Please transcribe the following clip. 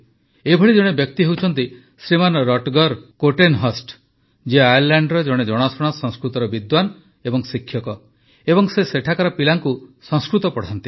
ଏପରି ଜଣେ ବ୍ୟକ୍ତି ହେଉଛନ୍ତି ଶ୍ରୀମାନ ରଟଗର କୋର୍ଟେନହର୍ଷ୍ଟ ଯିଏ ଆୟର୍ଲାଣ୍ଡର ଜଣେ ଜଣାଶୁଣା ସଂସ୍କୃତର ବିଦ୍ୱାନ ଓ ଶିକ୍ଷକ ଏବଂ ସେ ସେଠାକାର ପିଲାଙ୍କୁ ସଂସ୍କୃତ ପଢ଼ାନ୍ତି